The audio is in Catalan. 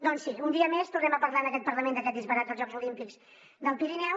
doncs sí un dia més tornem a parlar en aquest parlament d’aquest disbarat dels jocs olímpics del pirineu